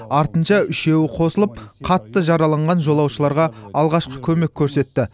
артынша үшеуі қосылып қатты жараланған жолаушыларға алғашқы көмек көрсетті